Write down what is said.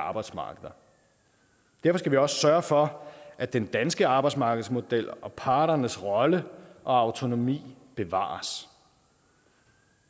arbejdsmarkeder derfor skal vi også sørge for at den danske arbejdsmarkedsmodel og parternes rolle og autonomi bevares